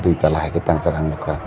dui tala haike tangjak ang nogka.